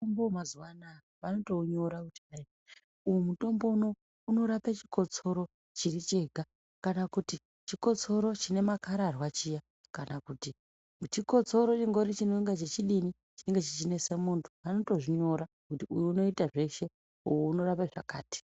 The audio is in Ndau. Mutombo wemazuwanayaa vanotounyora kuti hayii, uyu mutombo unouyu unorapa chikotsoro chiri chega kana kuti chikotsoro chine makararwa chiya kana kuti chikotsoro chingori chinonga chichidini, chinenge chichinesa munthu, vanotozvinyora kuti uyu unoita zveshe uyu unorapa zvakati.